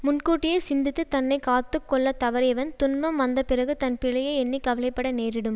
முன்கூட்டியே சிந்தித்துத் தன்னை காத்து கொள்ள தவறியவன் துன்பம் வந்தபிறகு தன் பிழையை எண்ணி கவலை பட நேரிடும்